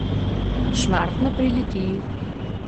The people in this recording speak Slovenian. Šmartno pri Litiji.